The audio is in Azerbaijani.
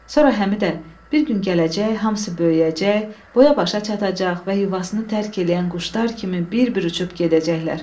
Sonra Həmidə, bir gün gələcək hamısı böyüyəcək, boya-başa çatacaq və yuvasını tərk eləyən quşlar kimi bir-bir uçub gedəcəklər.